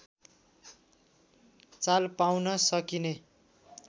चाल पाउन सकिने